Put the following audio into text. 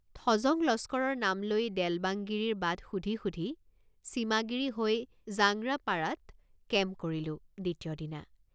থজং লস্কৰৰ নাম লৈ দেলবাংগিৰিৰ বাট সুধি সুধি চিমাগিৰি হৈ জাংৰা পাৰাত কেম্প কৰিলোঁ দ্বিতীয়দিনা।